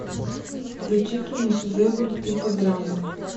включи киношедевр типа драма